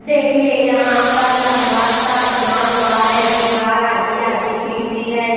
देखिए ये यहां पर लंबा सा बना हुआ है दीवार आधी आधी खींची है।